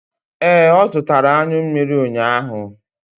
Ee, ọ zụtara anyụ mmiri ụnyaahụ.